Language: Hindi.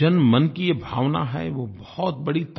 जनमन की ये भावना है वो बहुत बड़ी ताक़त है